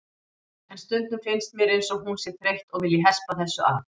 En stundum finnst mér eins og hún sé þreytt og vilji hespa þessu af.